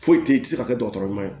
Foyi te se ka kɛ dɔgɔtɔrɔ ɲuman ye